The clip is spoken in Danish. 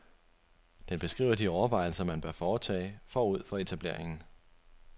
Den beskriver de overvejelser, man bør foretage forud for etableringen.